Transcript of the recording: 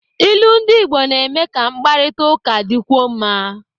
Ilu ndị Igbo na-eme ka mkparịta ụka dịkwuo mma.